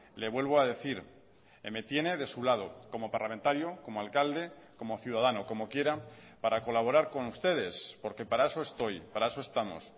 le vuelvo a decir me tiene de su lado como parlamentario como alcalde como ciudadano como quiera para colaborar con ustedes porque para eso estoy para eso estamos